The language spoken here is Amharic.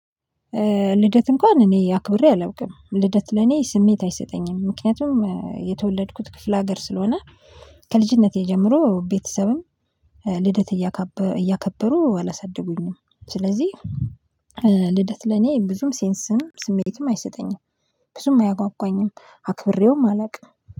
ልደት እንኳን እኔ አክብሬ አላውቅም። ልደት ለኔ ስሜት አይሰጠኝም። ምክንያቱም የተወለድኩት ክፍለ ሀገር ስለሆነ ከልጅነቴ ጀምሮ ቤተሰብም ልደት እያከበሩ አላሳድጉኝም። ስለዚህ ልደት ለኔ ብዙም ሴንስም ስሜትም አይሰጠኝም። ብዙም አያጓጓኝም አክብሬውም አላውቅም።